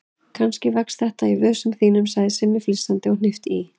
Kannski vex þetta í vösunum þínum sagði Simmi flissandi og hnippti í